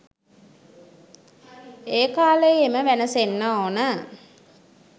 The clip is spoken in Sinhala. ඒ කාලේයේම වැනසෙන්න ඕන